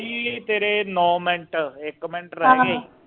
ਤੇਰੇ ਨੋ ਮਿੰਟ ਇਕ ਮਿੰਟ ਰਹਿ ਗਿਆ ਈ